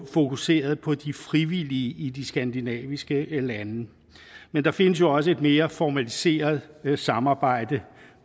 fokuseret på de frivillige i de skandinaviske lande men der findes også et mere formaliseret samarbejde